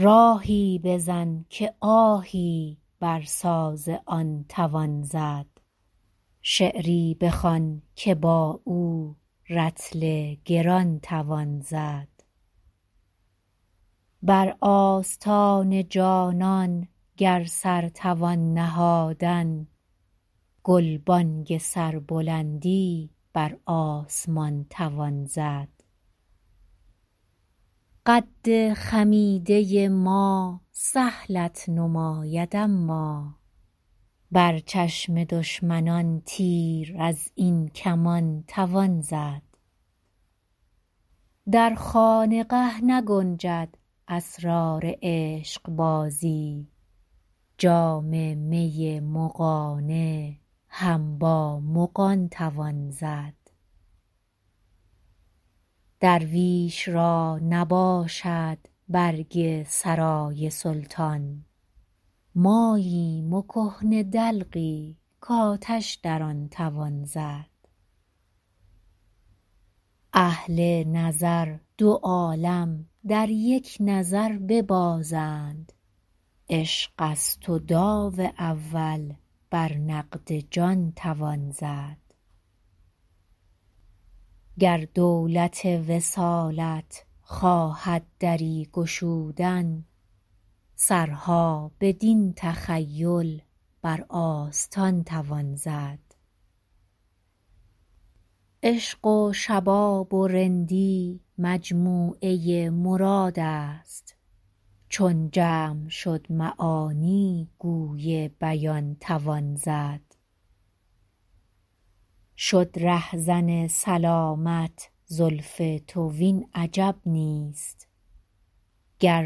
راهی بزن که آهی بر ساز آن توان زد شعری بخوان که با او رطل گران توان زد بر آستان جانان گر سر توان نهادن گلبانگ سربلندی بر آسمان توان زد قد خمیده ما سهلت نماید اما بر چشم دشمنان تیر از این کمان توان زد در خانقه نگنجد اسرار عشقبازی جام می مغانه هم با مغان توان زد درویش را نباشد برگ سرای سلطان ماییم و کهنه دلقی کآتش در آن توان زد اهل نظر دو عالم در یک نظر ببازند عشق است و داو اول بر نقد جان توان زد گر دولت وصالت خواهد دری گشودن سرها بدین تخیل بر آستان توان زد عشق و شباب و رندی مجموعه مراد است چون جمع شد معانی گوی بیان توان زد شد رهزن سلامت زلف تو وین عجب نیست گر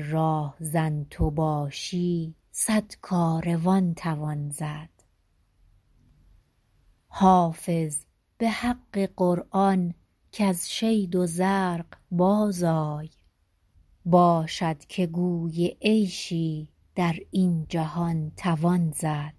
راهزن تو باشی صد کاروان توان زد حافظ به حق قرآن کز شید و زرق بازآی باشد که گوی عیشی در این جهان توان زد